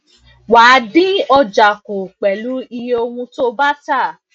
wà dín ọjà kú pèlú um iye ohùn tí o bá um tà